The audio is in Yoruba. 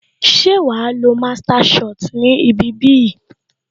Ṣé o lọ master shot ni ibi bí yìí